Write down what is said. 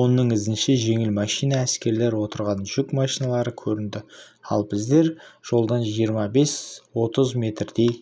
оның ізінше жеңіл машина әскерлер отырған жүк машиналары көрінді ал біздер жолдан жиырма бес отыз метрдей